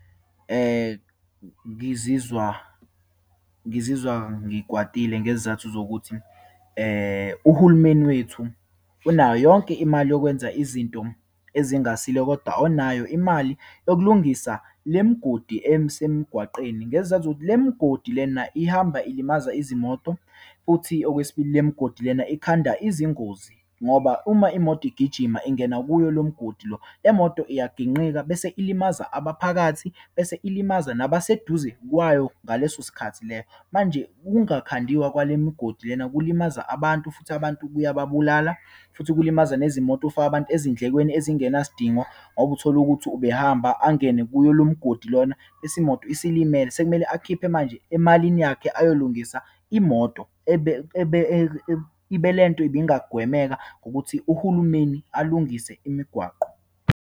Ngizizwa, ngizizwa ngikwatile ngezizathu zokuthi uhulumeni wethu unayo yonke imali yokwenza izinto ezingasile, kodwa onayo imali yokulungisa le migodi esemgwaqeni. Ngezizathu zokuthi, le migodi lena ihamba ilimaza izimoto. Futhi okwesibili, le migodi lena, ikhanda izingozi ngoba uma imoto igijima ingena kuyo lo mgodi, le moto iyaginqika bese ilimaza abaphakathi bese ilimaza nabaseduze kwayo, ngaleso sikhathi leyo. Manje ukungakhandiwa kwale migodi lena, kulimaza abantu futhi abantu kuyabulala futhi kulimaza nezimoto, ufake abantu ezindlekweni ezingenasidingo ngoba utholukuthi ubehamba angene kuyo lo mgodi lona, bese imoto isilimele. Sekumele akhiphe manje emalini yakhe ayowulungisa imoto ebe, ebe, ibe le nto ibingagwemeka ngokuthi uhulumeni alungise imigwaqo.